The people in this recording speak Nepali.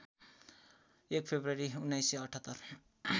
१ फेब्रुअरी १९७८